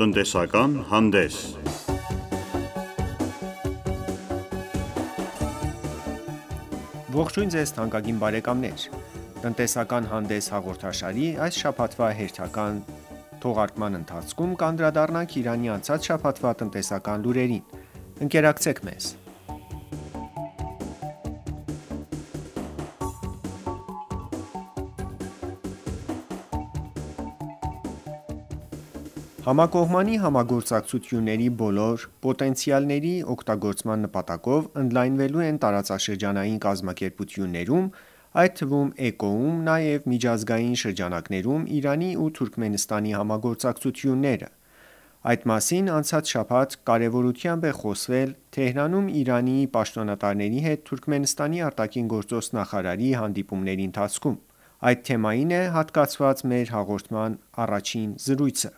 Տնտեսական հանդես Ողջույն Ձեզ թանկագին բարեկամներ: «Տնտեսական հանդես» հաղորդաշարի այս շաբաթվա հերթական թողարկման ընթացքում կանդրառնանք Իրանի անցած շաբաթվա տնտեսական լուրերին: Ընկերակցեք մեզ: Համակողմանի համագործակցությունների բոլոր պոտենցիալների օգտագործման նպատակով ընդլայնվելու են տարածաշրջանային կազմակերպություններում այդ թվում ԷԿՕ-ում, նաև միջազգային շրջանակներում Իրանի ու Թուրքմենստանի համագործակցությունները: Այդ մասին անցած շաբաթ կարևորությամբ է խոսվել Թեհրանում Իրանի պաշտոնատարների հետ Թուրքմենստանի ԱԳ նախարարի հանդիպումների ընթացքում: Այդ թեմային է հատկացված մեր հաղորդման առաջին զրույցը: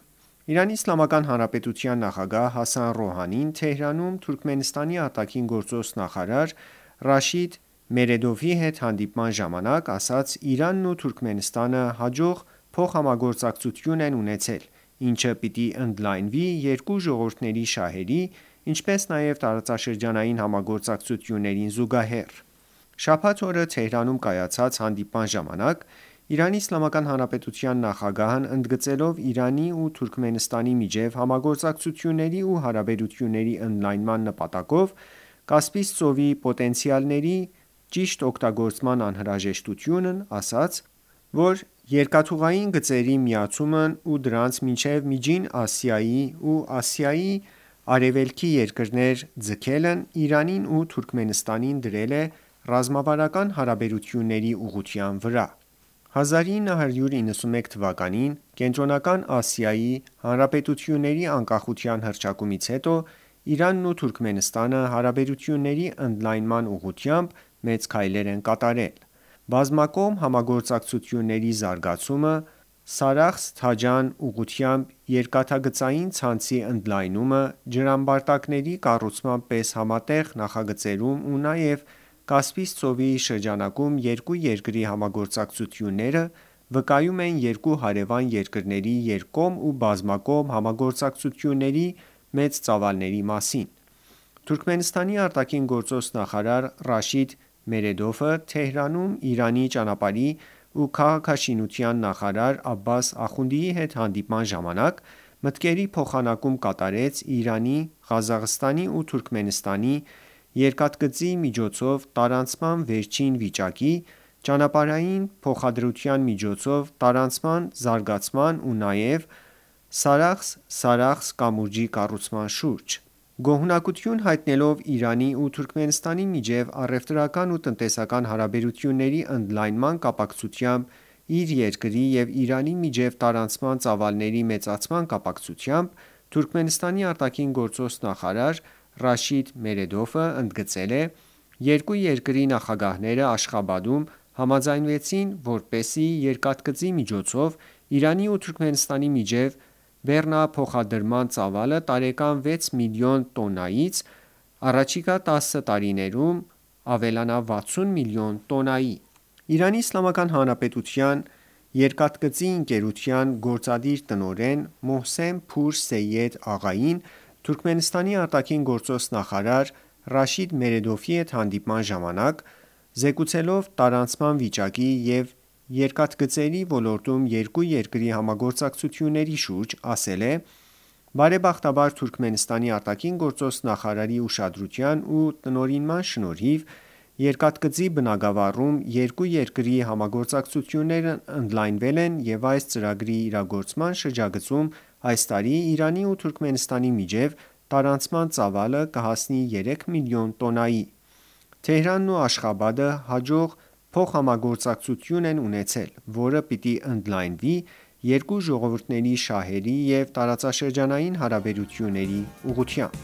ԻԻՀ նախագահ Հասան Ռոհանին Թեհրանում Թուրքմենստանի ԱԳ նախարար Ռաշիդ Մերեդովի հետ հանդիպման ժամանակ, ասաց. «Իրանն ու Թուրքմենստանը հաջող փոխհամագործակցություն են ունեցել, ինչը պիտի ընդլայնվի երկու ժողովուրդների շահերի, ինչպես նաև տարածաշրջանային համագործակցություններին զուգահեռ»: Շաբաթ օրը Թեհրանում կայացած հանդիպման ժամանակ ԻԻՀ նախագահն ընդգծելով Իրանի ու Թուրքմենստանի միջև համագործակցությունների ու հարաբերությունների ընդլայնման նպատակով Կասպից ծովի պոտենցիալների ճիշտ օգտագործման անհրաժեշտությունն, ասաց, որ երկաթուղային գծերի միացումն ու դրանց մինչև Միջին Ասիայի ու Ասիայի արևելքի երկրներ ձգելն Իրանին ու Թուրքմենստանին դրել է ռազմավարական հարաբերությունների ուղղության վրա: 1991 թվականին Կենտրոնական Ասիայի հանրապետությունների անկախության հռչակումից հետո Իրանն ու Թուրքմենստանը հարաբերությունների ընդլայնման ուղղությամբ մեծ քայլեր են կատարել: Բազմակողմ համագործակցությունների զարգացումը, Սարախս-Թաջան ուղղությամբ երկթգծային ցանցի ընդլայնումը, ջրամբարտակների կառուցման պես համատեղ նախագծերում ու նաև Կասպից ծովի շրջանում երկու երկրի համագործակցությունները վկայում են երկու հարևան երկրների երկկողմ ու բազմակողմ համագործակցությունների մեծ ծավալների մասին: Թուրքմենստանի ԱԳ նախարար Ռաշիդ Մերեդովը Թեհրանում Իրանի ճանապարհի ու քաղաքաշինության նախարար Աբբաս Ախունդիի հետ հանդիպման ժամանակ մտքերի փոխանակում կատարեց Իրանի-Ղազախստանի ու Թուրքմենստանի երկաթգծի միջոցով տարանցման վերջին վիճակի, ճանապարահային փոխադրության միջոցով տարանցման զարգացման ու նաև Սարախս-Սարախս կամուրջի կառուցման շուրջ: Գոհունակություն հայտնելով Իրանի ու Թուրքմենստանի միջև առևտրական ու տնտեսական հարաբերությունների ընդլայնման կապակցությամբ իր երկրի և Իրանի միջև տարանցման ծավալների մեծացման կապակցությամբ Թուրքմենստանի ԱԳ նախարար Ռաշիդ Մերեդովը ընդգծել է. «Երկու երկրի նախագահները Աշխաբադում համաձայնեցին, որպեսզի երկաթգծի միջոցով Իրանի ու Թուրքմենստանի միջև բեռնափոխադրման ծավալը տարեկան 6 միլիոն տոննայից առաջիկա 10 տարիներում ավելանա 60 միլիոն տոննայի: ԻԻՀ Երկաթգծի ընկերության գործադիր տնօրեն Մոհսեն Փուր Սեյեդ Աղային Թուրքմենստանի ԱԳ նախարար Ռաշիդ Մերեդովի հետ հանդիպման ժամանակ զեկուցելով տարանցման վիճակի և երկաթգծերի ոլորտում երկու երկրի համագործակցությունների շուրջ, ասել է. «Բարեբախտաբար Թուրքմենստանի ԱԳ նախարարի ուշադրության ու տնօրինման շնորհիվ երկաթգծի բնագավառում երկու երկրի համագործակցություններն ընդլայնվել են և այս ծրագրի իրագործման շրջագծում այս տարի Իրանի ու Թուրքմենստանի միջև տարանցման ծավալը կհասնի 3 միլիոն տոննայի»: Թեհրանն ու Աշխաբադը հաջող փոխհամագործակցություն են ունեցել, որը պիտի ընդլայնվի երկու ժողովուրդների շահերի և տարածաշրջանային հարաբերությունների ուղղությամբ: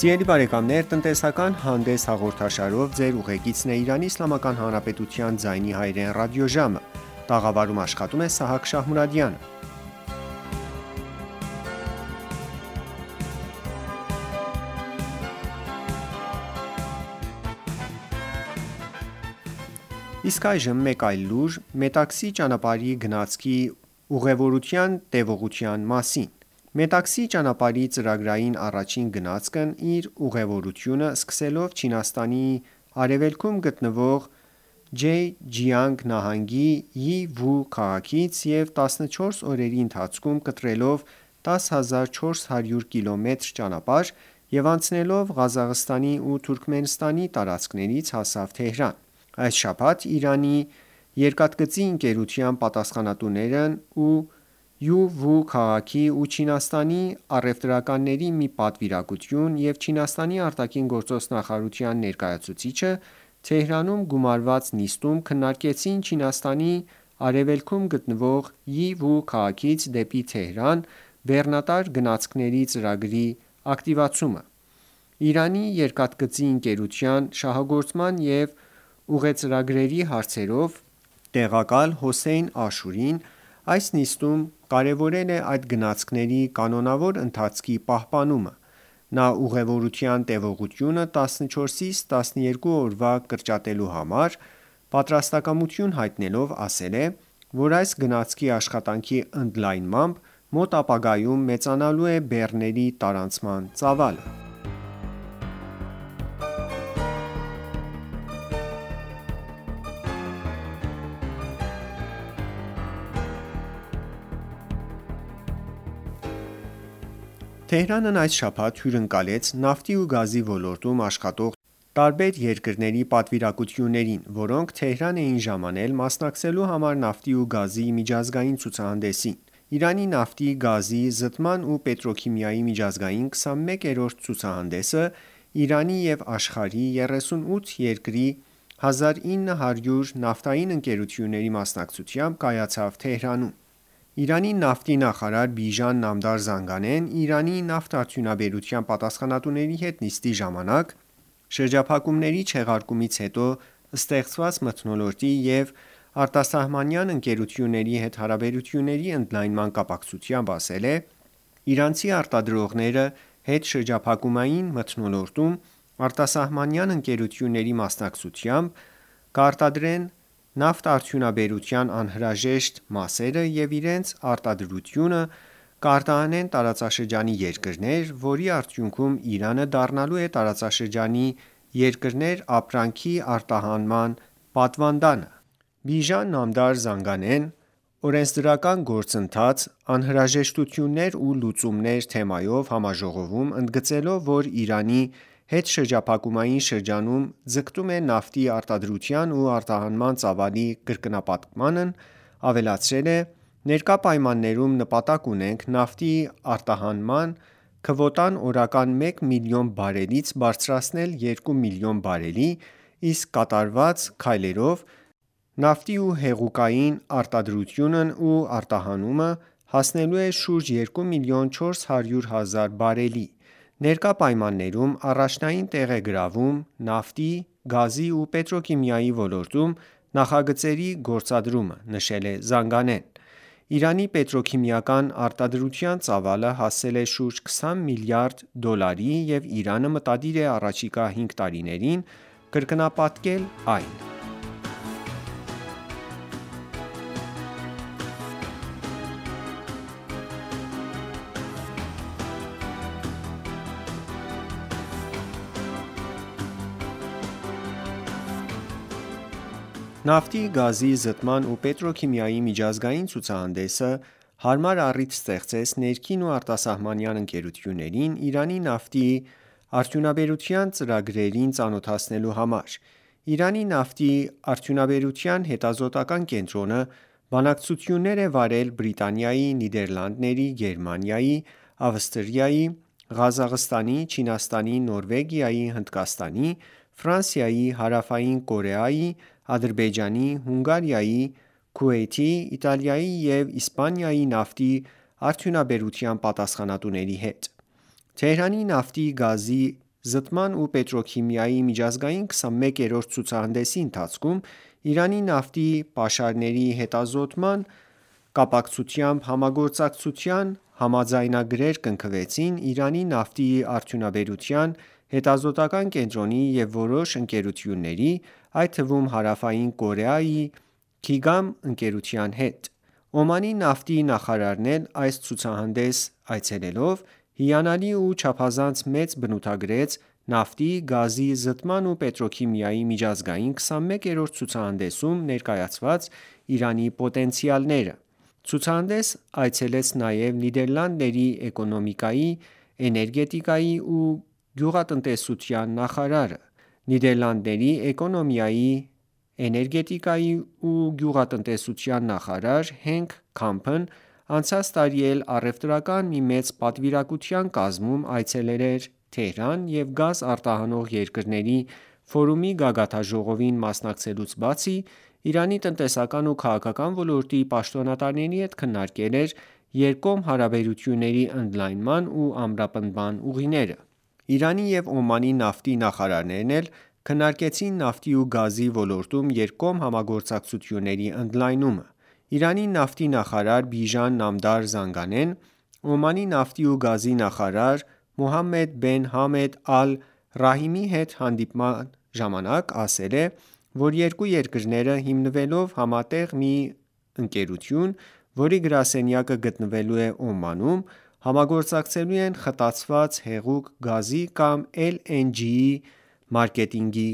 Իսկ այժմ մեկ այլ լուր Մետաքսի ճանապարհի գնացքի ուղևորության տևողության մասին: Մետաքսի ճանապարհի ծրագրային առաջին գնացքն իր ուղևորությունը սկսելով Չինաստանի արևելքում գտնվող Ջե-Ջիանգ նահանգի Յի-Վու քաղաքից և 14 օրերի ընթացքում կտրելով 10400 կմ ճանապարհ և անցնելով Ղազախստանի ու Թուրքմենստանի տարածքներից հասավ Թեհրան: Այս շաբաթ Իրանի երկաթգծի ընկերության պատասխանատուներն ու Յի-Վու քաղաքի ու Չինաստանի առևտրականների մի պատվիրակություն և Չինաստանի ԱԳ նախարարության ներկայացուցիչը Թեհրանում գումարված նիստում քննարկեցին Չինաստանի արևելքում գտնվող Յի-Վու քաղաքից դեպի Թեհրան բեռնատար գնացքների ծրագրի ակտիվացումը: Իրանի Երկաթծի ընկերության շահագործման և ուղեծրագրերի հարցերով տեղակալ Հոսեյն Աշուրին այս նիստում կարևորել է այդ գնացքների կանոնավոր ընթացքի պահպանումը: Նա ուղևորության տևողությունը 14-ից 12 օրվա կրճատելու համար պատրաստակամություն հայտնելով, ասել է, որ այս գնացքի աշխատանքի ընդլայնմամբ մոտ ապագայում մեծանալու է բեռների տարանցման ծավալը: Թեհրանն այս շաբաթ հյուրընկալեց նավթի ու գազի ոլորտում աշխատող տարբեր երկրների պատվիրակություններին, որոնք Թեհրան էին ժամանել մասնակցելու համար նավթի ու գազի միջազգային ցուցահանդեսին: Իրանի նավթի, գազի, զտման ու պետրոքիմիայի միջազգային 21-րդ ցուցահանդեսը Իրանի և աշխարհի 38 երկրի 1900 նավթային ընկերությունների մասնակցությամբ կայացավ Թեհրանում: Իրանի նավթի նախարար Բիժան Նամդար Զանգանեն Իրանի նավթարդյունաբերության պատասխանատուների հետ նիստի ժամանակ շրջափակումների չեղարկումից հետո ստեղծված մթնոլորտի և արտասահմանյան ընկերությունների հետ հարաբերությունների ընդլայնման կապակցությամբ, ասել է.«Իրանցի արտադրողները հետշրջափակումային մթնոլորտում արտասահմանյան ընկերությունների մասնակցությամբ կարտադրեն նավթաարդյունաբերության անհրաժեշտ մասերը և իրենց արտադրությունը կարտահանեն տարածաշրջանի երկրներ, որի արդյունքում Իրանը դառնալու է տարածաշրջանի երկրներ ապրանքի արտահանման պատվանդանը»: Բիժան Նամդար Զանգանեն «Օրենսդրական գործընթաց, անհրաժեշտություններ ու լուծումներ» թեմայով համաժողովում ընդգծելով, որ Իրանը հետշրջափակումային շրջանում ձգտում է նավթի արտադրության ու արտահանման ծավալի կրկնապատկմանն, ավելացրել է. «Ներկա պայմաններում նպատակ ունենք նավթի արդյունահանման քվոտան օրական մեկ միլիոն բարելից բարձրացնել երկու միլիոն բարելի, իսկ կատարվծ քայլերով նավթի ու հեղուկային կոնդենսատների արտադրությունն ու արտահանումը հասնելու է շուրջ երկու միլիոն 400 հազար բարելի»: «Ներկա պայմաններում առաջնային տեղ է գրավում նավթ, գազի ու պետրոքիմիայի ոլորտում նախագծերի գործադրումը»,-նշել է Զանգանեն: Իրանի պետրոքիմիական արտադրության ծավալը հասել է շուրջ 20 միլիարդ դոլարի և Իրանը մտադիր է առաջիկա հինգ տարիներին կրկնապատկել այն: Նավթի, գազի, զտման ու պետրոքիմիայի միջազգային ցուցահանդեսը հարմար առիթ ստեղծեց ներքին ու արտասահմանյան ընկերություններին Իրանի նավթի արդյունաբերության ծրագրերին ծանոթացնելու համար: Իրանի նավթի արդյունաբերության հետազոտական կենտրոնը բանակցություններ է վարել Բրիտանիայի, Նիդերլանդների, Գերմանիայի, Ավստրիայի, Ղազախստանի, Չինաստանի, Նորվեգիայի, Հնդկաստանի, Ֆրանսիայի, Հարավային Կորեայի, Ադրբեջանի, Հունգարիայի, Քուվեյթի, Իտալիայի ու Իսպանիայի նավթի արդյունաբերության պատասխանատուների հետ: Թեհրանի նավթի, գազի, զտման ու պետրոքիմիայի միջազգային 21-րդ ցուցահանդեսի ընթացքում Իրանի նավթի պաշարների հետազոտման կապակցությամբ համագործակցության համաձայնագրեր կնքվեցին Իրանի նավթի արդյունաբերության հետազոտական կենտրոնի և որոշ ընկերությունների, այդ թվում Հարավային Կորեայի «Քիգամ» ընկերության հետ: Օմանի նավթի նախարարն էլ այս ցուցահանդես այցելելով հիանալի ու չափազանց մեծ բնութագրեց նավթի, գազի, զտման ու պետրոքիմիայի միջազգային 21-րդ ցուցահանդեսում ներկայացված Իրանի պոտենցիալները: Ցուցահանդես այցելեց նաև Նիդերլանդների էկոնոմիկայի, էներգետիկայի ու գյուղատնտեսության նախարարը: Նիդերլանդների էկոնոմիկայի, էներգետիկայի ու գյուղատնտեսության նախարար Հենք Քամփն անցած տարի էլ առևտրական մի մեծ պատվիրակության կազմում այցելել էր Թեհրան և Գազ արտահանող երկրների ֆորումի գագաթնաժողովին մասնակցելուց բացի Իրանի տնտեսական ու քաղաքական ոլորտի պաշտոնատարների հետ քննարկել էր երկկողմ հարաբերությունների ընդլայնման ու ամրապնդման ուղիները: Իրանի և Օմանի նավթի նախարարներն էլ քննարկեցին նավթի ու գազի ոլորտում երկկողմ համագործակցությունների ընդլայնումը: Իրանի նավթի նախարար Բիժան Նամդար Զանգանեն Օմանի նավթի ու գազի նախարար Մոհամմեդ Բեն Համդ Ալ-Ռահմիի հետ հանդիպումից հետո, ասել է, որ երկու երկրները հիմնելով համատեղ մի ընկերություն, որի գրասենյակը գտնվելու է Օմանում, համագործակցելու են խտացված հեղուկ գազի կամ LNG մարկետինգի